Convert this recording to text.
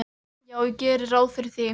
Já, ég geri ráð fyrir því.